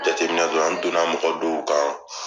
Jateminɛdɔ la n don na mɔgɔdɔw kan.